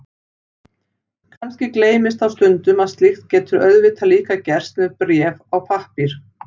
Kannski gleymist þá stundum að slíkt getur auðvitað líka gerst með bréf á pappír.